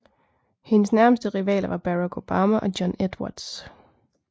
Hendes nærmeste rivaler var Barack Obama og John Edwards